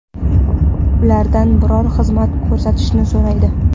Ulardan biror xizmat ko‘rsatishni so‘raydi.